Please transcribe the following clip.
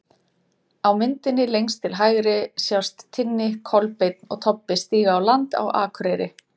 Á myndinni lengst til hægri sjást Tinni, Kolbeinn og Tobbi stíga á land á Akureyri.